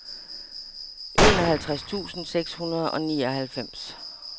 enoghalvtreds tusind seks hundrede og nioghalvfems